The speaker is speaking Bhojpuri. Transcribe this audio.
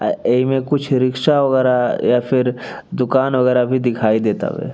आ एही में कुछ रिक्शा वगैरह या फिर दुकान वगैरह भी दिखई देत तावे।